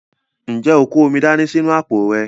Ǹjẹ́ o kó omi dání sínú àpò rẹ?